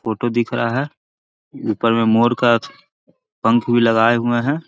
photo दिख रहा है ऊपर में मोर का पंख भी लगाए हुए हैI